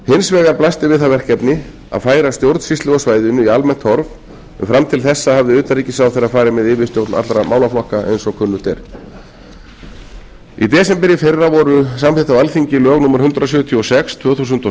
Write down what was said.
hins vegar blasti við það verkefni að færa stjórnsýslu á svæðinu í almennt horf en fram til þessa hafði utanríkisráðherra farið með yfirstjórn allra málaflokka eins og kunnugt er í desember í fyrra voru samþykkt á alþingi lög númer hundrað sjötíu og sex tvö þúsund og